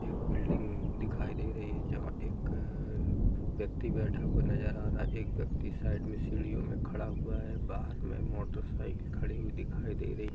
एक बिल्डिंग दिखाई दे रही है जहा एक व्यक्ति बैठा हुआ नजर आ रहा है | एक व्यक्ति साइड में सीढ़ियों में खड़ा हुआ है | बाहर में मोटरसाइकिल खड़ी हुई दिखाई दे रही है |